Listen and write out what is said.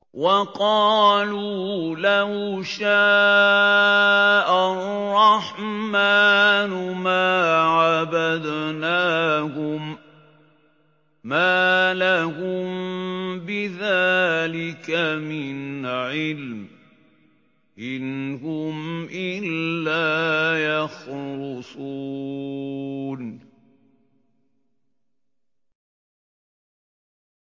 وَقَالُوا لَوْ شَاءَ الرَّحْمَٰنُ مَا عَبَدْنَاهُم ۗ مَّا لَهُم بِذَٰلِكَ مِنْ عِلْمٍ ۖ إِنْ هُمْ إِلَّا يَخْرُصُونَ